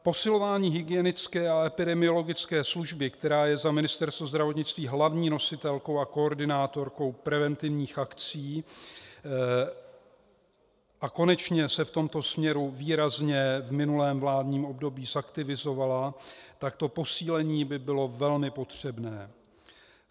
Posilování hygienické a epidemiologické služby, která je za Ministerstvo zdravotnictví hlavní nositelkou a koordinátorkou preventivních akcí, a konečně se v tomto směru výrazně v minulém vládním období zaktivizovala, tak to posílení by bylo velmi potřebné.